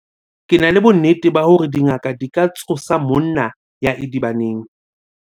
ke na le bonnete ba hore dingaka di ka tsosa monna ya idibaneng